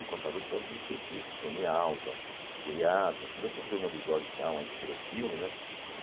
E contava a história dos skatistas, Tony Alva, Jay Adams, toda essa turma do Dog Town aí que virou filme, né?